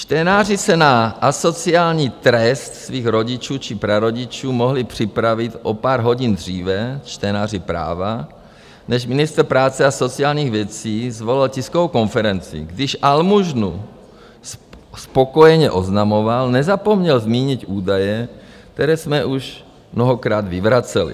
Čtenáři se na asociální trest svých rodičů či prarodičů mohli připravit o pár hodin dříve, čtenáři Práva, než ministr práce a sociálních věcí svolal tiskovou konferenci, když almužnu spokojeně oznamoval, nezapomněl zmínit údaje, které jsme už mnohokrát vyvraceli.